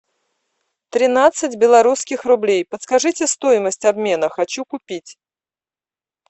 тринадцать белорусских рублей подскажите стоимость обмена хочу купить